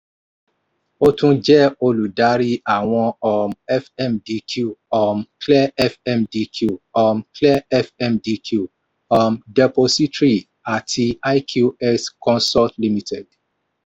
ó tún jẹ́ olùdarí àwọn um fmdq um clear fmdq um clear fmdq um depository àti iqx consult limited